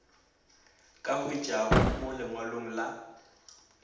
ka hwetšwago mo lengwalong la